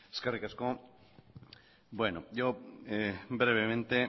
eskerrik asko bueno yo brevemente